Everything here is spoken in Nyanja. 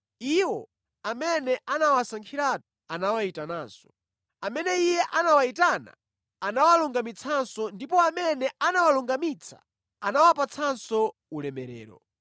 Iwo amene anawasankhiratu, anawayitananso. Amene Iye anawayitana anawalungamitsanso ndipo amene anawalungamitsa anawapatsanso ulemerero.